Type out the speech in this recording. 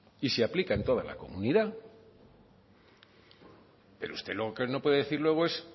y se aplica en toda la comunidad pero usted lo que no puede decir luego es